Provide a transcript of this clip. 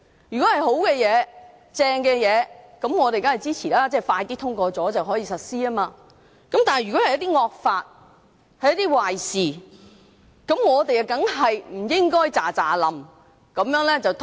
如果是好事，我們當然支持，因為加快通過便能夠實施，但如果是一些惡法和壞事，我們當然不應該立刻通過。